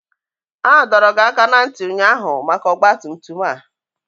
A dọrọ gị aka ná ntị ụnyaahụ maka ọgba tum tum a!